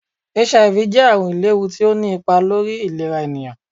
HIV jẹ àrùn ìléhú tí ọ ní ipá lórí ìlerá ènìyàn